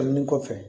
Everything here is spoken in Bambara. kɔfɛ